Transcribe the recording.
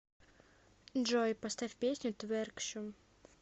джой поставь песню тверкшум